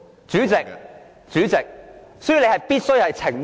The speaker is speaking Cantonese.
主席，你必須澄清。